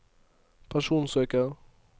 personsøker